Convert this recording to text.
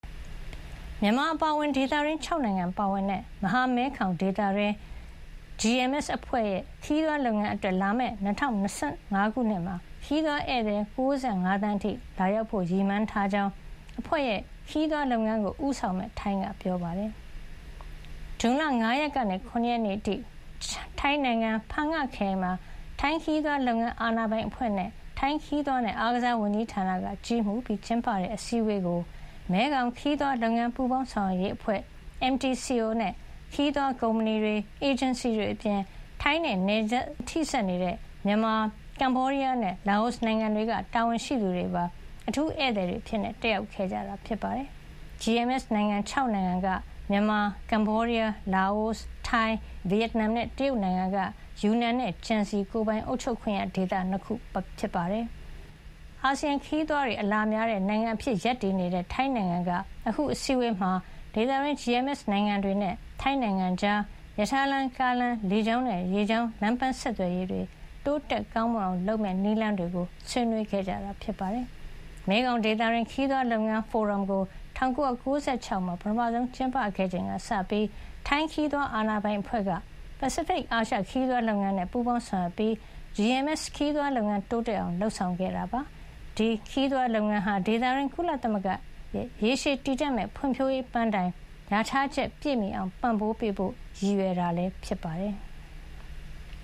မြန်မာအပါအဝင် ဒေသတွင်း ၆ နိုင်ငံပါဝင်တဲ့ မဟာမဲခေါင်ဒေသ GMS အဖွဲ့ရဲ့ ခရီးသွားလုပ်ငန်းအတွက် လာမယ့် ၂၀၂၅ ခုနှစ်မှာ ခရီးသွားဧည့်သည် ၉၅ သန်းအထိ လာရောက်ဖို့ ရည်မှန်းထားကြောင်း အဖွဲ့ရဲ့ ခရီးသွားလုပ်ငန်းကို ဦးဆောင်မယ့် ထိုင်းက ပြောပါတယ်။ ဇွန်လ ၅ ရက်နေ့ကနေ ၇ ရက်နေ့အထိ ထိုင်းနိုင်ငံ ဖန်ငခရိုင်မှာ ထိုင်းခရီးသွားလုပ်ငန်း အာဏာပိုင်အဖွဲ့၊ ထိုင်းခရီးသွားနဲ့ အားကစားဝန်ကြီးဌာနက ကြီးမှူးပြီးကျင်းပတဲ့ အစည်းဝေးကို မဲခေါင်ခရီးသွားလုပ်ငန်း ပူးပေါင်းဆောင်ရွက်ရေးအဖွဲ့ MTCO နဲ့ ခရီးသွားကုမ္ပဏီတွေ၊ အေဂျင်စီတွေအပြင် ထိုင်းနဲ့နယ်စပ်ချင်း ထိစပ်နေတဲ့ မြန်မာ၊ ကမ္ဘောဒီးယားနဲ့ လာအိုနိုင်ငံတွေက တာဝန်ရှိသူတွေပါ အထူးဧည့်သည်အဖြစ် တက်ရောက်ခဲ့ကြပါတယ်။ GMS နိုင်ငံ ၆ နိုင်ငံကတော့ မြန်မာ၊ ကမ္ဘောဒီးယား၊ လာအို၊ ထိုင်း၊ ဗီယက်နမ်နဲ့ တရုတ်နိုင်ငံက ယူနန်နဲ့ ကျန်စီ ကိုယ်ပိုင်အုပ်ချုပ်ခွင့်ရဒေသ ၂ ခု တို့ ဖြစ်ပါတယ်။ အာဆီယံဒေသတွင်း ခရီးသွားတွေ အလာများတဲ့နိုင်ငံအဖြစ် ရပ်တည်နေတဲ့ ထိုင်းနိုင်ငံက အခု အစည်းအဝေးမှာ ဒေသတွင်း GMS နိုင်ငံတွေနဲ့ ထိုင်းနိုင်ငံကြား ရထားလမ်း၊ ကားလမ်း၊ လေကြောင်းနဲ့ ရေကြောင်း လမ်းပမ်းဆက်သွယ်ရေး တိုးတက်ကောင်းမွန်အောင် လုပ်ဆောင်မယ့် နည်းလမ်းတွေကို ဆွေးနွေးခဲ့တာပါ။ မဲခေါင်ဒေသတွင်း ခရီးသွားလုပ်ငန်း ဖိုရမ်ကို ၁၉၉၆ ခုနှစ်မှာ ပထမဆုံး ကျင်းပခဲ့ချိန်ကစပြီး ထိုင်းခရီးသွား အာဏာပိုင်အဖွဲ့က ပစိဖိတ်-အာရှ ခရီးသွားလုပ်ငန်းနဲ့ ပူးပေါင်းဆောင်ရွက်ပြီး GMS ခရီးသွားလုပ်ငန်း တိုးတက်အောင် လုပ်ဆောင်ခဲ့တာ ဖြစ်ပါတယ်။ GMS ခရီးသွားလုပ်ငန်းဟာ ဒေသတွင်း ကုလသမဂ္ဂရဲ့ ရေရှည်တည်တံ့မယ့် ဖွံ့ဖြိုးရေး ပန်းတိုင်လျာထားချက် ပြည့်မီအောင် ပံ့ပိုးပေးဖို့လည်း ရည်ရွယ်တာ ဖြစ်ပါတယ်။